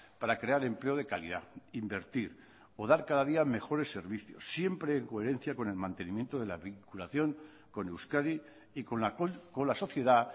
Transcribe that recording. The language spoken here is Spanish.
para crear empleo de calidad invertir o dar cada día mejores servicios siempre en coherencia con el mantenimiento de la vinculación con euskadi y con la sociedad